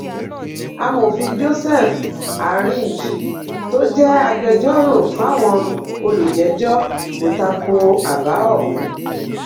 amòfin joseph arinj tó jẹ́ agbẹjọ́rò fáwọn olùjẹ́jọ́ kò ta ko àbá ọ̀hún